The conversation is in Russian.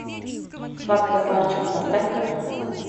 сладкая парочка поставь ка